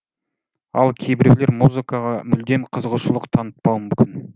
ал кейбіреулер музыкаға мүлдем қызығушылық танытпауы мүмкін